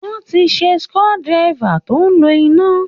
Wọ́n ti ṣe screw driver tó ń lo iná